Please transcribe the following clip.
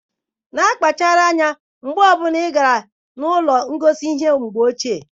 Na-akpachara anya mgbe ọ bụla ị gara ụlọ ngosi ihe mgbe ochie.